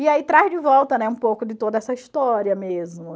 E aí traz de volta, né, um pouco de toda essa história mesmo.